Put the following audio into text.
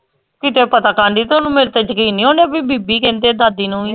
ਕੀਤੇ ਪਤਾ ਤਾਂ ਨੀ ਤੁਹਾਨੂੰ ਮਿਲ ਗਿੱਛ ਇਹਨੇ ਓ ਕੇ ਕਿ ਬੀਬੀ ਕਹਿੰਦੇ ਦਾਦੀ ਨੂੰ ਵੀ